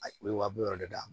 A ye wa bi wɔɔrɔ d'a ma